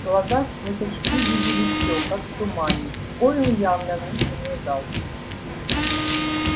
глаза сквозь очки видели всё как в тумане гойл явно в них не нуждался